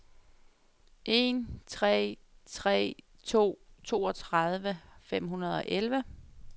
en tre tre to toogtredive fem hundrede og elleve